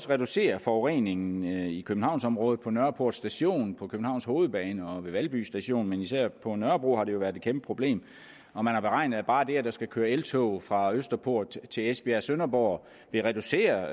reducere forureningen i københavnsområdet på nørreport station på københavns hovedbanegård og ved valby station men især på nørrebro har det jo været et kæmpe problem og man har beregnet at bare det at der skal køre eltog fra østerport til esbjerg og sønderborg vil reducere